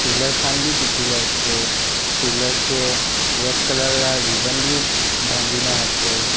pillar bhi dekhi ase pillar te red colour rebon bandi kina ase.